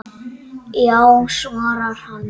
Já svarar hann.